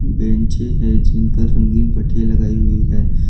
बेचें हैं जिन पर रंगीन पट्टियां लगाई हुई हैं।